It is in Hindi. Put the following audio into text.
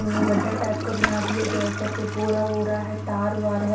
उम्म गड्ढा टाइप का बना दिया गया ऊपर पे पूरा हो रहा है तार वार है।